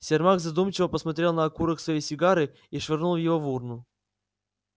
сермак задумчиво посмотрел на окурок своей сигары и швырнул её в урну